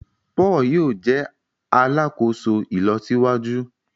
Paul yóò jé alàkóso ìlọsíwájú